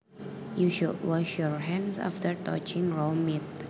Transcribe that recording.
You should wash your hands after touching raw meat